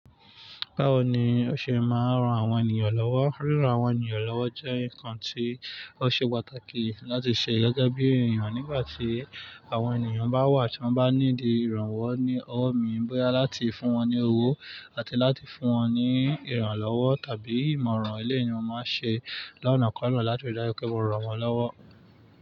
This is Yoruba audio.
Báwo ni o ṣe máa ń ran àwọn ènìyàn lọ́wọ́? Ríran àwọn ènìyàn lọ́wọ́ jẹ́ nǹkan tí ó ṣe pàtàkì láti ṣe gẹ́gẹ́ bí èèyàn nígbà tí àwọn ènìyàn bá wà tí wọ́n bá ní di ìrànwọ́ ní ọ̀ọ́ mi báyìí láti fún wọn ní owó àti láti fún wọn ní ìrànlọ́wọ́ tàbí ìmọ̀ràn. Ele ni mo máa ń ṣe lọ́nà kọ́na láti rí dájú pé wọn ran wọ́n lọ́wọ́.